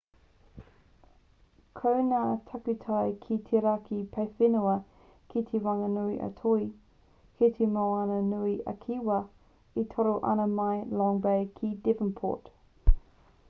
ko ngā takutai ki te raki paewhenua kei te whanganui a toi kei te moana nui a kiwa e toro ana mai i long bay ki devonport